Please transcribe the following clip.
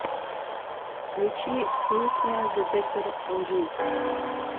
включи песня детектор лжи